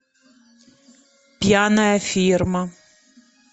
пьяная фирма